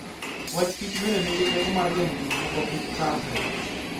Wach Kichbende nigi teko mar geng'o gik moko kik chandre.